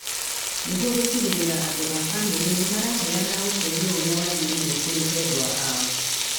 Nĩguo gũtigĩrĩra andũ a bamĩrĩ nĩ maraheana ũteithio ũrĩa wagĩrĩire kũrĩ endwa ao.